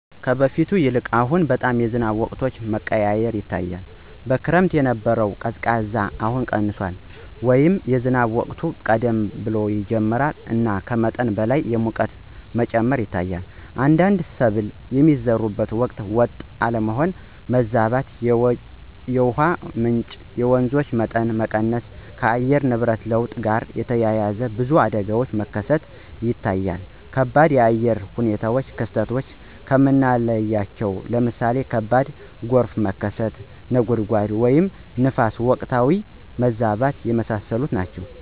ከበፊቱ ይልቅ አሁን በጣም የዝናብ ወቅቶች መቀያየር ይታያል። በክረምት የነበረው ቅዝቃዜ አሁን ቀንሷል” ወይም “የዝናብ ወቅት ቀደም ብሎ ይጀምራል እና ከመጠን በላይ የሙቀት መጨመር ይታያል። አንዳንድ ሰብል የሚዘሩበት ወቅት ወጥ አለመሆን (ማዛባት)።የውሃ ምንጮች (የወንዞች) መጠን መቀነስ። ከአየር ንብረት ለውጥ ጋር ተያይዞ ብዙ አደጋዎች መከሰት ይታያል ከባድ የአየር ሁኔታ ክስተቶች ከምናለቸው ለምሳሌ ከባድ ጎርፍ መከሰት፣ (ነጎድጓድ) ወይም ንፋስ በወቅታዊነት መብዛት። የመሳሰሉት ናቸው።